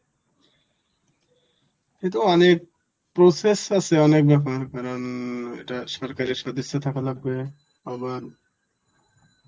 এতো অনেক process আছে অনেক ব্যাপার কারণ অ্যাঁ এটা সরকারি সদস্য থাকা লাগবে আবার